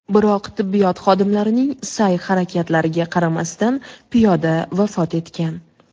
Biroq tibbiyot xodimlarining sa’y-harakatlariga qaramasdan piyoda vafot etgan.